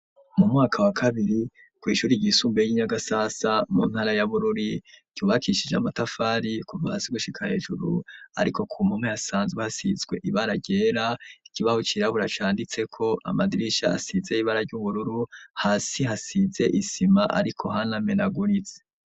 Mu mwaka wa kabiri kw'ishuri ryisumbuye ry'i Nyagasasa mu ntara ya Bururi ryubakishije amatafari kuva hasi gushika hejuru ariko ku mpome hasanzwe hasizwe ibara ryera, ikibaho cirabura canditseko, amadirisha asize ibara ry'ubururu, hasi hasize isima ariko hanamenaguritse.